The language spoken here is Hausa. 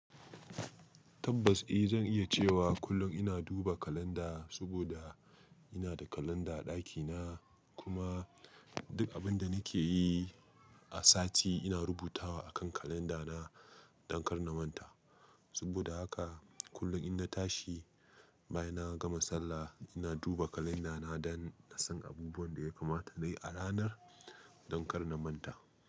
Tabbas eh, zan iya cewa kullum ina duba kalanda saboda ina da kalanda a ɗakina, kuma duk abin da nake yi a sati ina rubutawa akan kalandana don kar na manta. Saboda haka kullum ina tashi, bayan na gama sallah, ina duba kalandana don in san abubuwan da ya kamata na yi a ranar don kar na manta.